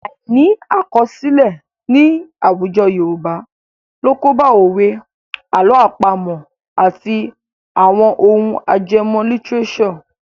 Àìní àkọsílẹ̀ ní àwùjọ Yorùbá ló kóbá òwe, àlọ́ àpamọ̀ àti àwọn ohun ajẹmọ́ lítíréṣọ̀.